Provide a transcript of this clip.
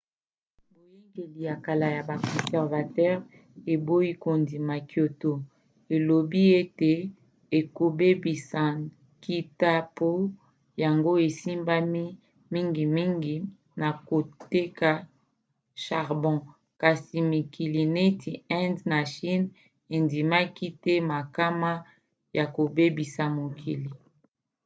boyangeli ya kala ya ba conservateur eboyi kondima kyoto elobi ete ekobebisa nkita po yango esimbami mingimingi na koteka charbon kasi mikili neti inde na chine endimaki te makama ya kobebisa mokili